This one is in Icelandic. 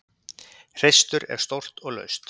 Hreistur er stórt og laust.